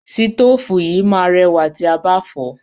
Sítòfù yìí máa rẹwà tí a bá fọ̀ọ́.